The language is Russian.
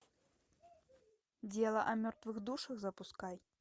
дело о мертвых душах запускай